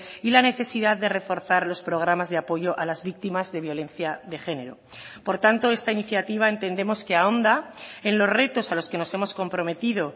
y la necesidad de reforzar los programas de apoyo a las víctimas de violencia de género por tanto esta iniciativa entendemos que ahonda en los retos a los que nos hemos comprometido